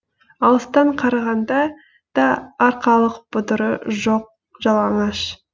алыстан қарағанда да арқалық бұдыры жоқ жалаңаш